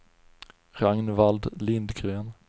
Ragnvald Lindgren